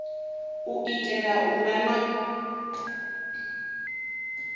u itela u vha na